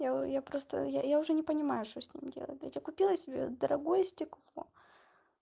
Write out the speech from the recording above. я просто я уже не понимаю что с ним делать блядь я купила себе дорогое стекло